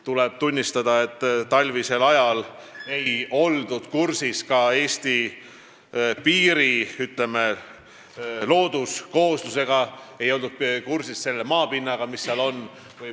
Tuleb tunnistada, et talvisel ajal ei oldud ka hästi kursis Eesti piiri, ütleme, looduskoosluse ega selle maapinnaga, mis seal on.